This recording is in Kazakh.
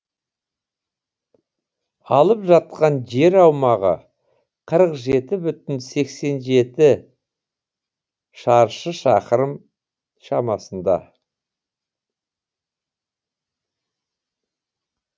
алып жатқан жер аумағы қырық жеті бүтін сексен жеті шаршы шақырым шамасында